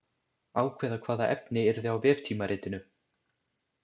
Ákveða hvaða efni yrði á veftímaritinu.